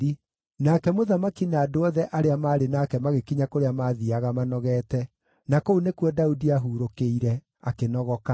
Nake mũthamaki na andũ othe arĩa maarĩ nake magĩkinya kũrĩa maathiiaga manogeete. Na kũu nĩkuo Daudi aahurũkĩire, akĩnogoka.